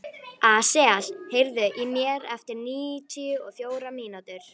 Asael, heyrðu í mér eftir níutíu og fjórar mínútur.